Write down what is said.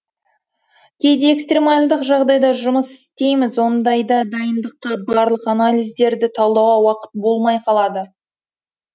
кейде экстремалдық жағдайда жұмыс істейміз ондайда дайындыққа барлық анализдарды талдауға уақыт болмай қалады